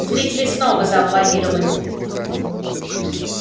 зрители снова зааплодировали